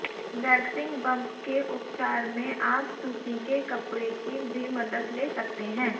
waxing bump के उपचार में आप सूती के कपड़े की भी मदद ले सकते हैं